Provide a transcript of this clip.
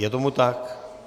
Je tomu tak?